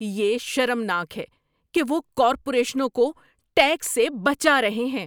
یہ شرمناک ہے کہ وہ کارپوریشنوں کو ٹیکس سے بچا رہے ہیں۔